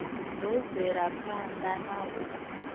ḓo bvela phanḓa na u